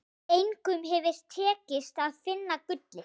Engum hefur tekist að finna gullið.